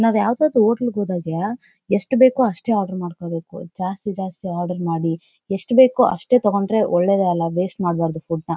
ನಾವ್ ಯಾವದಾದ್ರು ಹೋಟೆಲ್ಗೆ ಹೋದಾಗೆ ಯೆಸ್ಟ್ ಬೇಕು ಅಷ್ಟೇ ಆರ್ಡರ್ ಮಾಡಬೇಕು ಜಾಸ್ತಿ ಜಾಸ್ತಿ ಆರ್ಡರ್ ಮಾಡಿ ಯೆಸ್ಟ್ ಬೇಕೋ ಅಷ್ಟೇ ತಗೊಂಡ್ರೆ ಒಳ್ಳೇದೇ ಅಲ್ಲ ವೇಸ್ಟ್ ಮಾಡ್ಬಾರ್ದು ಫುಡ್ನ .